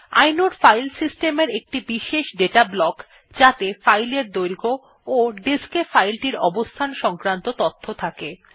inode file system এর একটি বিশেষ দাতা ব্লক যাত়ে ফাইলের দৈর্ঘ্য ও ডিস্ক এ ফাইল টির অবস্থান সংক্রান্ত তথ্য থাকে